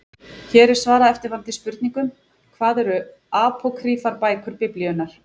Hér er svarað eftirfarandi spurningum: Hvað eru apókrýfar bækur Biblíunnar?